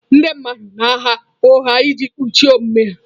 Ndị mmadụ na-agha ụgha iji kpuchie omume ha.